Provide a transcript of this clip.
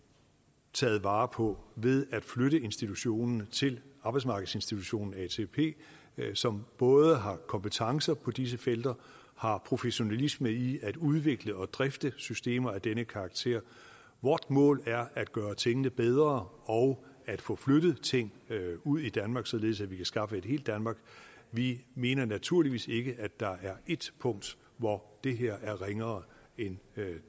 taget bedst vare på ved at flytte institutionen til arbejdsmarkedsinstitutionen atp som både har kompetencer på disse felter og har professionalisme i at udvikle og drifte systemer af denne karakter vort mål at gøre tingene bedre og at få flyttet ting ud i danmark således at vi kan skabe et helt danmark vi mener naturligvis ikke at der er et punkt hvor det her er ringere end